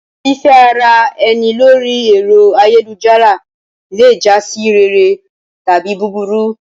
Fífẹ́ ara ẹni lórí ẹ̀rọ ayélujára le jásí rere tàbí búburú.